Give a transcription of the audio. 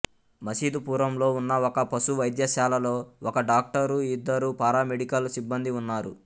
మసీదుపురంలో ఉన్న ఒక పశు వైద్యశాలలో ఒక డాక్టరు ఇద్దరు పారామెడికల్ సిబ్బందీ ఉన్నారు